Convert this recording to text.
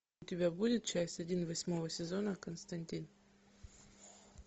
у тебя будет часть один восьмого сезона константин